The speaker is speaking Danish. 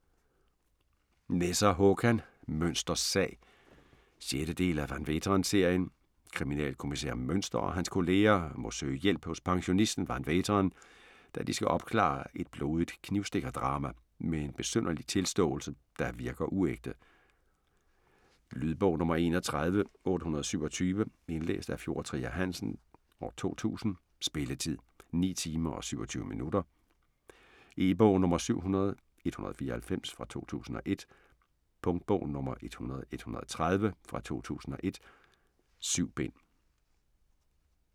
Nesser, Håkan: Münsters sag 6. del af Van Veeteren-serien. Kriminalkommissær Münster og hans kolleger må søge hjælp hos pensionisten van Veeteren, da de skal opklare et blodigt knivstikkerdrab med en besynderlig tilståelse, der virker uægte. Lydbog 31827 Indlæst af Fjord Trier Hansen, 2000. Spilletid: 9 timer, 27 minutter. E-bog 700194 2001. Punktbog 100130 2001. 7 bind.